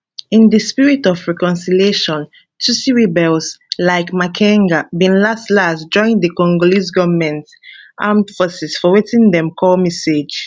in di spirit of reconciliation tutsi rebels like makenga bin laslas join di congolese goment armed forces for wetin dem call mixage